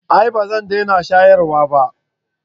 a'a ba zan dena shayarwa ba